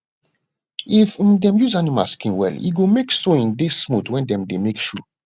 if um dem use animal skin well e go make sewing dey smooth wen dem dey make shoe